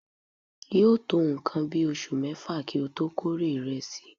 yóò tó nǹkan bí oṣù mẹ́fà kí ó tó kórè ìrẹsì.